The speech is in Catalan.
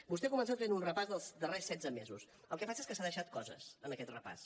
vostè ha començat fent un repàs dels darrers setze mesos el que passa és que s’ha deixat coses en aquest repàs